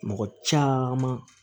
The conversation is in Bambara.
Mɔgɔ caman